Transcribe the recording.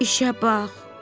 İşə bax!